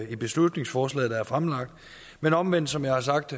i beslutningsforslaget der er fremlagt men omvendt som jeg har sagt